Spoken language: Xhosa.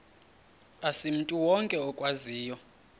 asimntu wonke okwaziyo